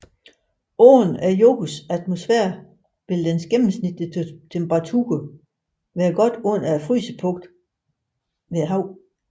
Uden jordens atmosfære ville dens gennemsnitstemperatur være godt under frysepunktet ved havet